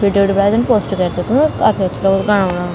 Video post कर काफी अछू लगदु राम-राम।